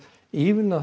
ívilna